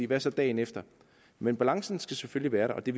hvad så dagen efter men balancen skal selvfølgelig være der og det